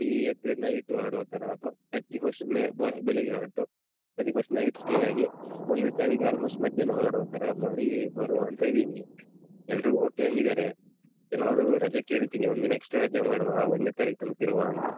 Thirtieth night ಹೊರಡುವ ತರ ಅಥವಾ thirty first ಬೇ ಬೆಳಿಗ್ಗೆ ಹೊರಟು thirty first night stay ಆಗಿ ಒಂದ್ನೆ ತಾರೀಕು almost ಮಧ್ಯಾಹ್ನ ಹೊರಡುವ ತರ ಮಾಡಿ ಬರುವ ಅಂತ ಇದ್ದೀವಿ ಎಲ್ಲ್ರು okay ಅಂದಿದ್ದಾರೆ. ಎಲ್ಲರೂ ರಜೆ ಕೇಳ್ತೀನಿ ಒಂದ್ ದಿನ extra ರಜೆ ಮಾಡುವ ಒಂದ್ನೇ ತಾರಿಕ್ ತನಕ ಇರುವ ಅಂತ.